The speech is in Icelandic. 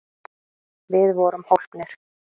Við vorum hólpnir!